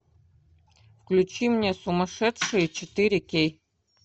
включи мне сумасшедшие четыре кей